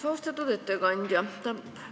Austatud ettekandja!